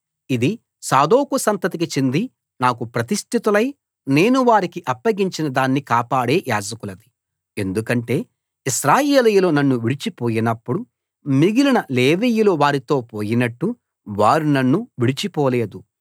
ఇది సాదోకు సంతతికి చెంది నాకు ప్రతిష్టితులై నేను వారికి అప్పగించిన దాన్ని కాపాడే యాజకులది ఎందుకంటే ఇశ్రాయేలీయులు నన్ను విడిచిపోయినప్పుడు మిగిలిన లేవీయులు వారితో పోయినట్టు వారు నన్ను విడిచిపోలేదు